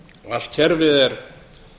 allt kerfið er